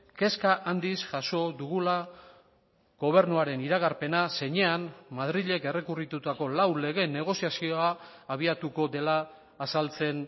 kezka handiz jaso dugula gobernuaren iragarpena zeinean madrilek errekurritutako lau legeen negoziazioa abiatuko dela azaltzen